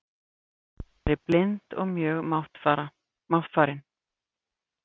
Gerður var þá nærri blind og mjög máttfarin.